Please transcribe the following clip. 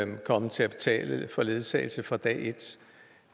kan komme til at betale for ledsagelse fra dag et